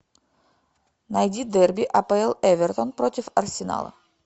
найди дерби апл эвертон против арсенала